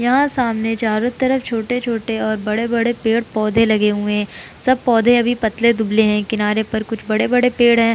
यहाँ सामने चारों तरफ छोटे-छोटे और बड़े-बड़े पेड़-पौधे लगे हुए हैं सब पौधे अभी पतले दुबले हैं किनारे पर कुछ बड़े-बड़े पेड़ हैं।